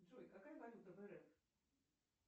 джой какая валюта в рф